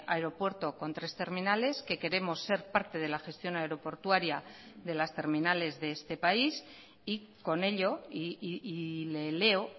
aeropuerto con tres terminales que queremos ser parte de la gestión aeroportuaria de las terminales de este país y con ello y le leo